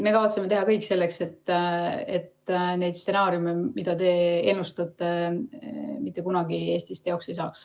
Me kavatseme teha kõik selleks, et need stsenaariumid, mida te ennustate, mitte kunagi Eestis teoks ei saaks.